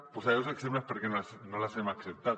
posaré dos exemples de per què no les hem acceptat